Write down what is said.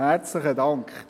Herzlichen Dank!